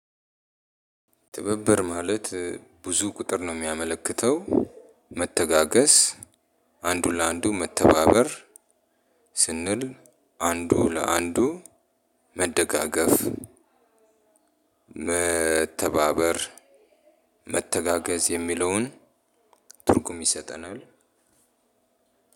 ትብብር ማለት ብዙ ቁጥር ነው የሚያመለክተው መተጋገዝ አንዱ ለአንዱ መተባበር ስንል አንዱ ለአንዱ መደጋገፍ። መተባበር መተጋገዝ የሚለውን ትርጉም ይሰጠናል።